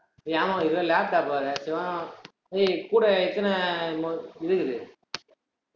ஏய் ஆமா இதுல laptop வேற ஏய், கூட எத்தன என்னமோ இது இருக்குது?